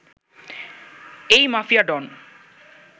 এই মাফিয়া ডন